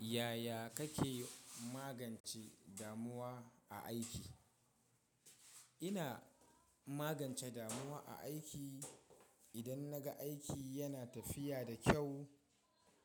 Yaya kake magance damuwa a aiki? Ina magance damuwa a aiki. Idan na ga aiki yana tafiya da kyau,